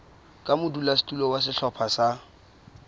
ka modulasetulo wa sehlopha sa